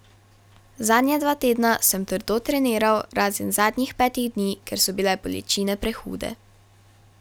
Zadnja dva tedna sem trdo treniral, razen zadnjih petih dni, ker so bile bolečine prehude.